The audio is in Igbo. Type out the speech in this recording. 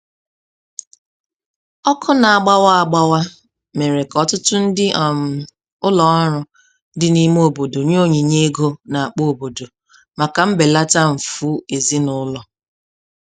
Ọkụ na-agbawa agbawa mere ka ọtụtụ ndị um ụlọọrụ dị n'ime obodo nye onyinye ego na-akpa obodo, maka mbelata mfụ ezinụlọ.